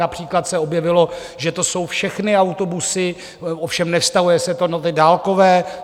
Například se objevilo, že to jsou všechny autobusy, ovšem nevztahuje se to na ty dálkové.